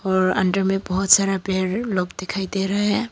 और अंदर में बहोत सारा पेड़ लोग दिखाई दे रहा है।